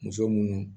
Muso munnu